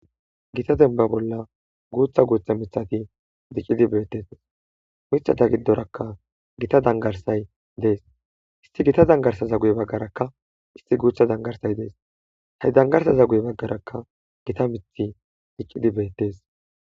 Githa dembba bolla guuththa guuththa miththathi diccidi beeththes;miththatha giddorakka githa dangarssay des;issi githa danggarssaza guye baggarakka issi guuththa danggarssay des;he danggarssaza guye baggarakka githa miththi diccidi beeththes.